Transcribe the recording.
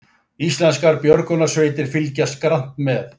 Íslenskar björgunarsveitir fylgjast grannt með